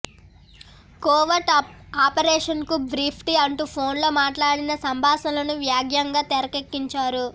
covert ఆపరేషన్కు briefed me అంటూ ఫోన్లో మాట్లాడిన సంభాషణలను వ్యంగ్యంగా తెరకెక్కించారు